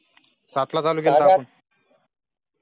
सात ला चालू केलं